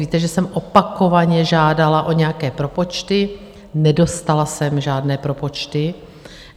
Víte, že jsem opakovaně žádala o nějaké propočty, nedostala jsem žádné propočty.